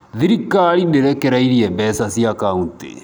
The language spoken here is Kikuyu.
Thirikari ndĩrekereirie mbeca cia kauntĩ .